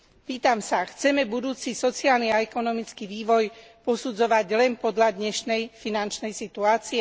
Pýtam sa chceme budúci sociálny a ekonomický vývoj posudzovať len podľa dnešnej finančnej situácie?